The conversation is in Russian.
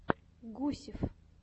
гусев